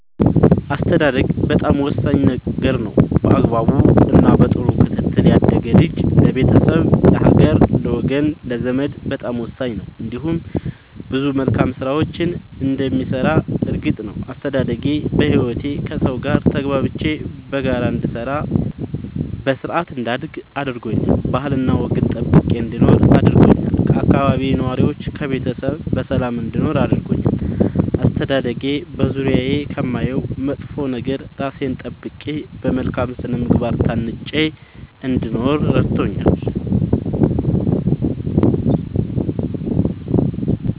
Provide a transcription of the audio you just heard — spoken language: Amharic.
አስተዳደግ በጣም ወሳኝ ነገር ነው በአግባቡ እና በጥሩ ክትትል ያደገ ልጅ ለቤተሰብ ለሀገር ለወገን ለዘመድ በጣም ወሳኝ ነው እንዲሁም ብዙ መልካም ስራዎችን እንደሚሰራ እርግጥ ነው። አስተዳደጌ በህይወቴ ከሠው ጋር ተግባብቼ በጋራ እንድሰራ በስርአት እንዳድግ አድርጎኛል ባህልና ወግን ጠብቄ እንድኖር አድርጎኛል ከአካባቢዬ ነዋሪዎች ከቤተሰብ በሰላም እንድኖር አድርጎኛል። አስተዳደጌ በዙሪያዬ ከማየው መጥፎ ነገር እራሴን ጠብቄ በመልካም ስነ ምግባር ታንጬ እንድኖር እረድቶኛል።